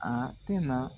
A tɛna